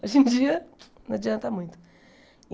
Hoje em dia não adianta muito.